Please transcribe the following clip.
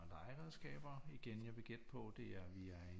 Legeredskaber igen jeg vil gætte på det er vi er